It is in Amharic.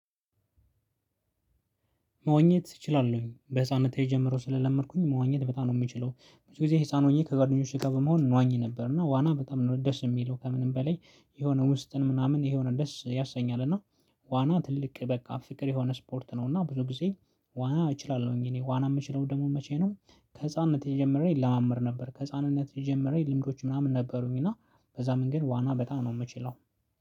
መወኘት እችላለሁኝ፣ በህሳንነቴ ጀምሮ ስለለመድኩኝ መወኘት በጣም ነው የምችለው። ብዙ ጊዜ ህሳን ሆኜ ከጓደኞቼ ከበመሆን እንዋኝ ነበር። እና ዋና በጣም ነው ደስ የሚለው! ከምንም በላይ የሆነ ውስጥን ምናምን ይሄ ወደስ ያሰኛል፣ እና ዋና ትልቅ በቃ ፍቅር የሆነ ስፖርት ነው። እና ብዙ ጊዜ ዋና እችላለሁኝ፣ እኔ ዋና የምችለው ደግሞ መቼ ነው ከህፃንነት የጀመረኝ ለማመር ነበር። ከህፃንነት የጀመረኝ ልምዶች ምናምን ነበሩኝ እና በዛ መንገድ ዋና በጣም ነው የምችለው።